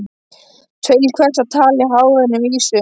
Til hvers að tala í hálfkveðnum vísum?